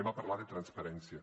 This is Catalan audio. parlem de transparència